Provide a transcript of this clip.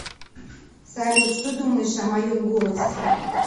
салют что думаешь о моем голосе